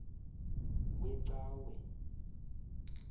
wecawe